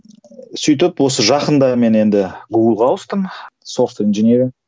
сөйтіп осы жақында мен енді гуглға ауыстым софт инженеринг